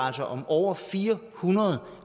om over fire hundrede